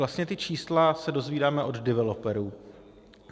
Vlastně ta čísla se dozvídáme od developerů.